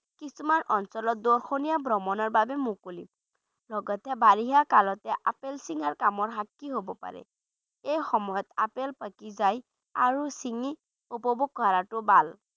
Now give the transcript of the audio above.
কিছুমান অঞ্চলত দৰ্শনি ভ্ৰমণৰ বাবে মুকলি লগতে বাৰিষা কালত আপেল ছিঙা কামৰ শাস্তি হ'ব পাৰে এই সময়ত আপেল পকি যায় আৰু ছিঙি উপভোগ কৰাটো ভাল।